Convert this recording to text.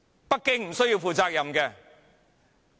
北京無須負責任？